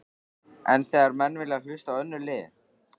En þegar menn vilja hlusta á önnur lið?